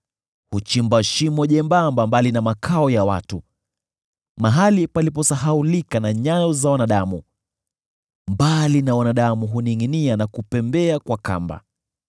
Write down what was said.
Huchimba shimo jembamba mbali na makao ya watu, mahali paliposahaulika na nyayo za wanadamu; mbali na wanadamu huningʼinia na kupembea kwa kamba.